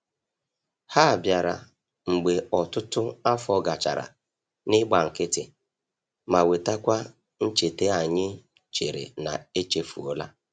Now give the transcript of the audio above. Ha bịara mgbe ọtụtụ afọ gachara n'igba nkịtị, ma wetakwa ncheta anyị chere na echefuola.